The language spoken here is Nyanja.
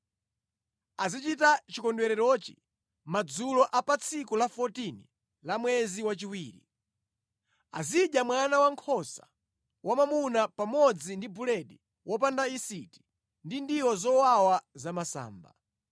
Azichita chikondwererochi madzulo a pa tsiku la 14 la mwezi wachiwiri. Azidya mwana wankhosa wamwamuna pamodzi ndi buledi wopanda yisiti ndi ndiwo zowawa zamasamba.